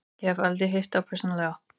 Ég hef aldrei hitt þá persónulega.